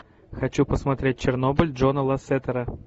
хочу посмотреть чернобыль джона лассетера